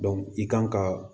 i kan ka